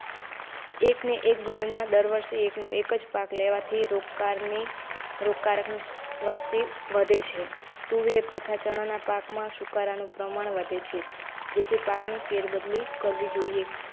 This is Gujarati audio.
એકને એક જમીનમાં દર વર્ષે એકનો એક પાક લેવાથી રોગકાર ની રોગકારકની વસ્તી વધે છે. તુવેર તથા ચણાના પાકમાં સુકારાનું પ્રમાણ વધે છે જેથી પાકની ફેરબદલી કરવી જોઇએ.